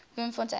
bloemfontein